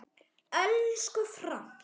Elsku Frank.